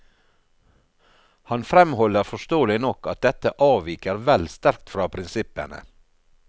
Han fremholder forståelig nok at dette avviker vel sterkt fra prinsippene.